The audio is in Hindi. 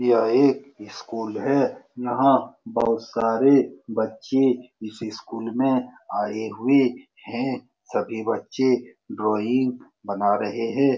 यह एक स्कूल है नाक बहुत सारे बच्ची इसी स्कूल में आये हुए हैं सभी बच्चे ड्राइंग बना रहे हैं ।